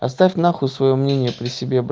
оставь на хуй своё мнение при себе